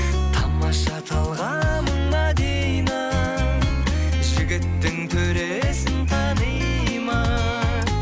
тамаша талғамың мәдина жігіттің төресін таниды ма